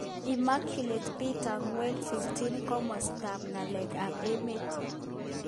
Immaculate Peter Ngwale. 15 Komostap ng'aleek ap emeet